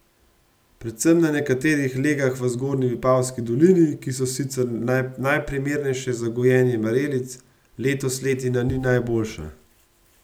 Predvsem na nekaterih legah v zgornji Vipavski dolini, ki so sicer najprimernejše za gojenje marelic, letos letina ni najboljša.